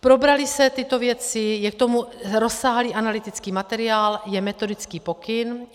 Probraly se tyto věci, je k tomu rozsáhlý analytický materiál, je metodický pokyn.